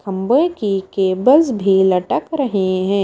खम्भे की केबल्स भी लटक रहे हैं।